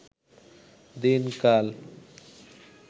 দিনকাল